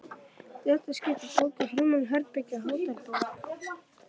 Í þetta skipti bókaði Hermann herbergi á Hótel Borg.